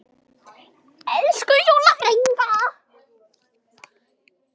Elsku Júlla frænka.